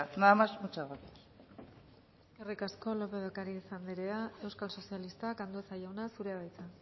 nada más muchas gracias eskerrik asko lópez de ocariz anderea euskal sozialistak andueza jauna zurea da hitza